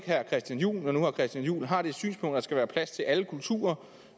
herre christian juhl når nu herre christian juhl har det synspunkt at der skal være plads til alle kulturer